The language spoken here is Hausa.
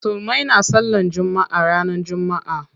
Musulmai na sallan jumma'a ranar jumma'a.